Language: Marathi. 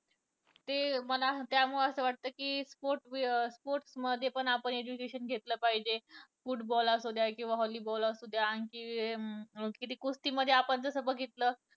कि मला त्यामुळे असं वाटतं कि sports, sports मध्ये पण आपण education घेतले पाहिजे. football असू द्या किंवा volleyball असू द्या. आणि कि कुस्तीमध्ये आपण जसं बघितलं